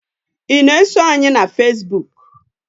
I na-eso anyị na fazebuk?